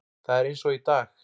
Það er eins og í dag.